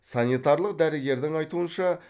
санитарлық дәрігердің айтуынша